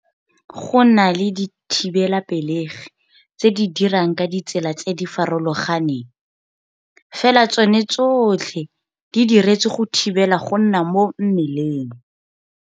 Go na le dithibelapelegi tse di dirang ka ditsela tse di farologaneng, fela tsone tsotlhe di diretswe go thibela go nna mo mmeleng.